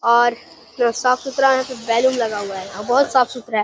और साफ सुथरा बैलून लगा हुआ है। बहोत साफ सुथरा है।